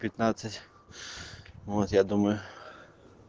пятнадцать вот я думаю